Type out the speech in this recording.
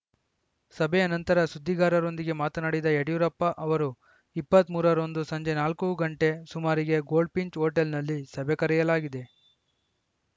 ಸಭೆಯ ನಂತರ ಸುದ್ದಿಗಾರರೊಂದಿಗೆ ಮಾತನಾಡಿದ ಯಡಿಯೂರಪ್ಪ ಅವರು ಇಪ್ಪತ್ತ್ ಮೂರರಂದು ಸಂಜೆ ನಾಲ್ಕು ಗಂಟೆ ಸುಮಾರಿಗೆ ಗೋಲ್ಡ್‌ಫಿಂಚ್‌ ಹೋಟೆಲ್‌ನಲ್ಲಿ ಸಭೆ ಕರೆಯಲಾಗಿದೆ